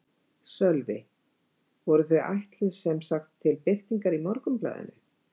Sölvi: Voru þau ætluð sem sagt til birtingar í Morgunblaðinu?